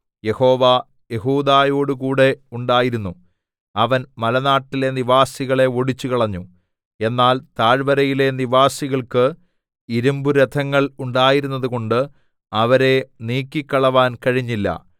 യഹോവ യെഹൂദയോടുകൂടെ ഉണ്ടായിരുന്നു അവൻ മലനാട്ടിലെ നിവാസികളെ ഓടിച്ചുകളഞ്ഞു എന്നാൽ താഴ്വരയിലെ നിവാസികൾക്ക് ഇരിമ്പുരഥങ്ങൾ ഉണ്ടായിരുന്നതുകൊണ്ട് അവരെ നീക്കിക്കളവാൻ കഴിഞ്ഞില്ല